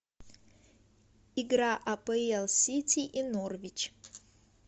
игра апл сити и норвич